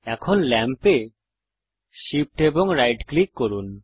এখন ল্যাম্পে Shift এবং রাইট ক্লিক করুন